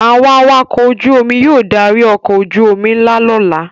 Àwọn awakọ̀ ojú-omi yóò darí ọkọ̀ ojú-omi ńlá lọ́la.